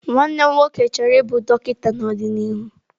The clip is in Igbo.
Nwa m nwoke chọrọ ịbụ dọkịta n'ọdịnihu.